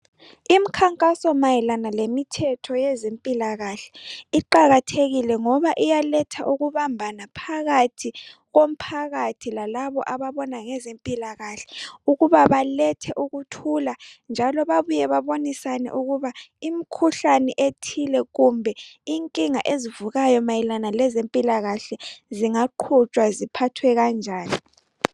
Imikhankaso mayelana lemithetho yezempilakahle iqakathekile ngoba iyaletha ukubambana phakathi komphakathi lalabo ababona ngezempilakahle, ukuba balethe ukuthula njalo babuye babonisane ukuba imikhuhlane ethile kumbe inkinga ezivukayo mayelana lezempilakahle singaqhutshwa ziphathwe kanjani.